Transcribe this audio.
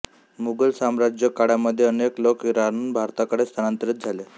मुघल साम्राज्यकाळामध्ये अनेक लोक इराणहून भारताकडे स्थानांतरित झाले